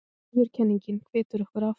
Viðurkenningin hvetur okkur áfram